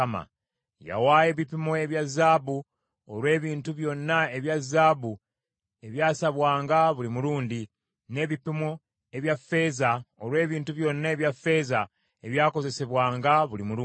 Yawaayo ebipimo ebya zaabu olw’ebintu byonna ebya zaabu ebyasabwanga buli mulundi, n’ebipimo ebya ffeeza olw’ebintu byonna ebya ffeeza ebyakozesebwanga buli mulundi;